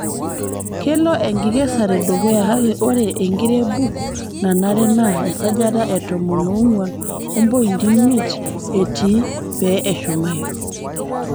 kelo enkikesare dukuya kake ore enkirebuk nanare naa esajata etomo oonguan ompointi imiet etii pe eshumayu.